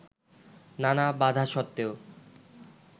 নানা বাধাসত্ত্বেও